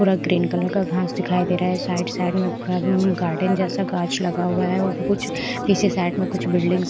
पूरा green colour का घास दिखाई दे रहा है साइड साइड में पूरा गार्डन जैसा गांछ लगा हुआ है और कुछ पीछे साइड में कुछ बिल्डिंग्स --